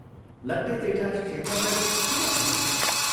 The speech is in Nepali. लट्टे जेठा शेखरलाई ठूलो भक्ति गर्छ।